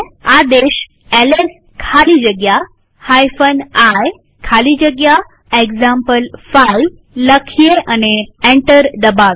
આદેશ એલએસ ખાલી જગ્યા i ખાલી જગ્યા એક્ઝામ્પલ5 લખીએ અને એન્ટર દબાવીએ